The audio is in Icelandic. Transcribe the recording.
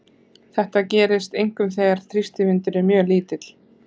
Þetta gerist einkum þegar þrýstivindur er mjög lítill.